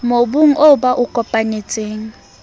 mobung oo ba o kopanetseng